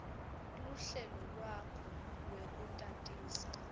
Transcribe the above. luhlelo lwakho lwekutatisa